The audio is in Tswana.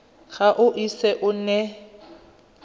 ga o ise o nne